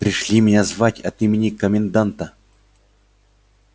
пришли меня звать от имени коменданта